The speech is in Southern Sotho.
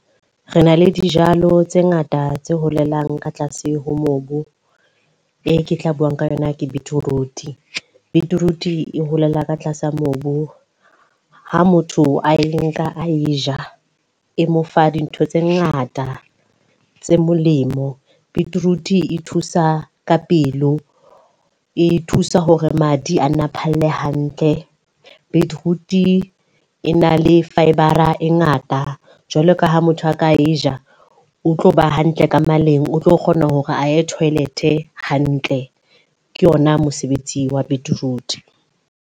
Re na le dijalo tse ngata tse holelang ka tlase ho mobu. E ke tla buang ka yona ke beetroot. Beetroot e holela ka tlasa mobu. Ha motho a e nka a e ja, e mo fa dintho tse ngata tse molemo. Beetroot e thusa ka pelo, e thusa hore madi a nna phalle hantle. Beetroot e na le fibre ngata. Jwalo ka ha motho a ka e ja, o tlo ba hantle ka maleng, o tlo kgona hore a ye toilet hantle. Ke ona mosebetsi wa beetroot.